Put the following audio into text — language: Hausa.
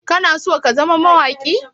Kana so ka zama mawaƙi?